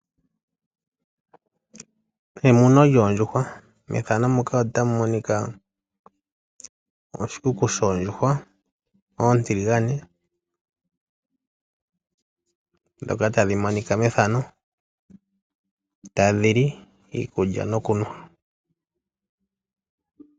Emuno lyoondjuhwa. Methano muka Otamu monika oshikuku shoondjuhwa oontiligane dhoka tadhi monika methano ta dhili iikulya no kunwa.